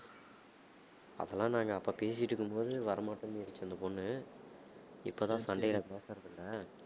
அப்பலாம் நாங்க அப்ப பேசிட்டிருக்கும் போது வரமாட்டேன்னிடுச்சு அந்தப் பொண்ணு. இப்பதான் சண்டையில பேசுறதில்லை